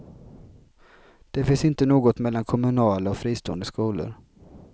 Det finns inte något mellan kommunala och fristående skolor.